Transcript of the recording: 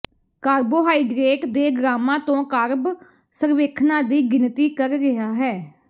carbohydrate ਦੇ ਗ੍ਰਾਮਾਂ ਤੋਂ ਕਾਰਬ ਸਰਵੇਖਣਾਂ ਦੀ ਗਿਣਤੀ ਕਰ ਰਿਹਾ ਹੈ